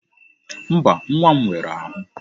Mba, nwa m nwere ahụ.